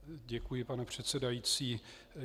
Děkuji, pane předsedající.